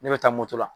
Ne bɛ taa moto la